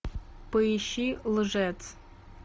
поищи лжец